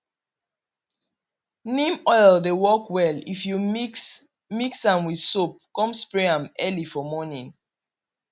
neem oil dey work well if you mix mix am with soap come spray am early for morning